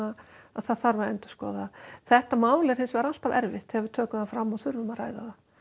það þarf að endurskoða þetta mál er hinsvegar alltaf erfitt þegar við tökum það fram og þurfum að ræða